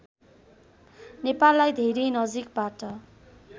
नेपाललाई धेरै नजिकबाट